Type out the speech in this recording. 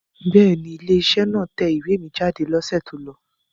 Bẹ́ẹ̀ ni, ilé-iṣẹ́ náà tẹ ìwé mi jáde lọ́sẹ̀ tó lọ.